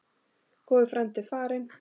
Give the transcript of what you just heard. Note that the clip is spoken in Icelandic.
Góður frændi er farinn.